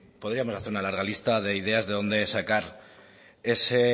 podríamos hacer una larga lista de ideas de dónde sacar ese